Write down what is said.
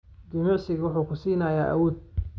Jimicsigu wuxuu ku siinayaa awood.